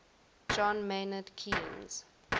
john maynard keynes